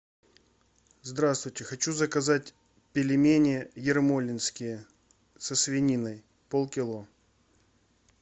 здравствуйте хочу заказать пельмени ермолинские со свининой полкило